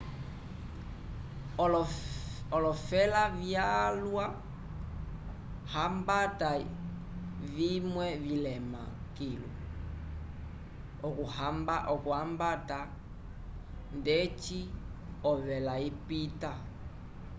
olofela vyalwa hambata vimwe vilema kilu okuhambata ndeci ovela ipita